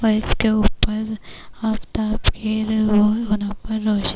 کے اپر آفتاب روشن--